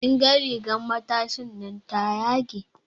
Kin ga rigan matashinan ta yage.